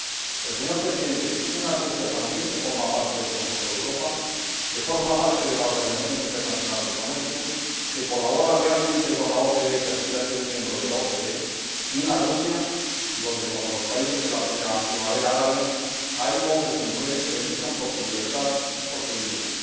Pero, señor Presidente, una Rusia también que forma parte del Consejo de Europa, que forma parte de la Organización Mundial del Comercio, que colabora lealmente con la OCDE y que aspira a ser un miembro de la misma, y una Rusia en la que, como en los países de la primavera árabe, hay hombres y mujeres que luchan por su libertad y por su dignidad.